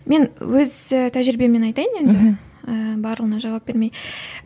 мен өз і тәжірибеммен айтайын енді ііі барлығына жауап бермей